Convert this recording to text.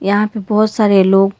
यहां पे बहोत सारे लोग--